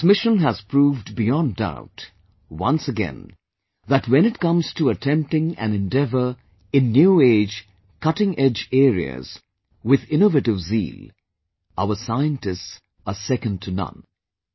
This mission has proved beyond doubt, once again, that when it comes to attempting an endeavour in new age, cutting edge areas, with innovative zeal, our scientists are second to none